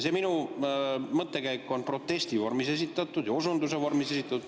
See minu mõttekäik on protesti vormis ja osunduse vormis esitatud.